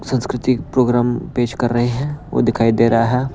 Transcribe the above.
संस्कृति प्रोग्राम पेश कर रहे हैं वो दिखाई दे रहा है।